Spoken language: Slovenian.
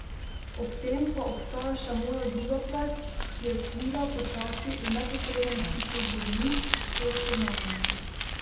Ob tem pa obstaja še moja druga plat, ki je klila počasi v neposrednem stiku z ljudmi, s spoznavanjem.